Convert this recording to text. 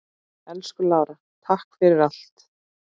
Elsku Lára, takk fyrir allt.